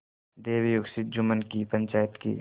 दैवयोग से जुम्मन की पंचायत के